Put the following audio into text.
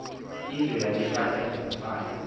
indwe yayiphethwe ngumfana